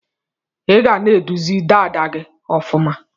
Iga na edozi dada gi ọfuma.